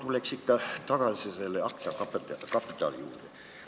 Ma tulen ikka tagasi selle aktsiakapitali juurde.